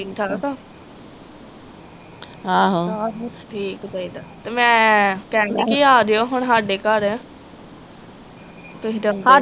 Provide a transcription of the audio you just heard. ਠੀਕ ਠਾਕ ਓ ਠੀਕ ਚਾਹੀਦਾ। ਤੇ ਮੈ ਕਹਿੰਦੀ ਹੀ ਕੇ ਆਜਿਓ ਹੁਣ ਹਾਡੇ ਘਰ ਤੁਹੀ ਤੇ ਆਉਂਦੀਆਂ ਨਹੀਂ